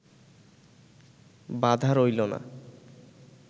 বাধা রইলো না